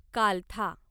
कालथा